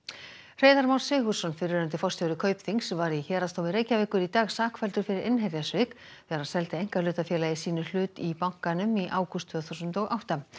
Hreiðar Már Sigurðsson fyrrverandi forstjóri Kaupþings var í Héraðsdómi Reykjavíkur í dag sakfelldur fyrir innherjasvik þegar hann seldi einkahlutafélagi sínu hluti í bankanum í ágúst tvö þúsund og átta